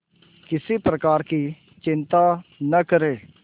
किसी प्रकार की चिंता न करें